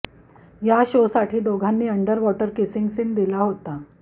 या शोसाठी दोघांनी अण्डर वॉटर किसिंग सीन दिला होता